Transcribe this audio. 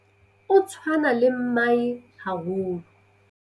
O tshwana le mmae haholo.